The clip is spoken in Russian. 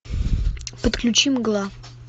подключи мгла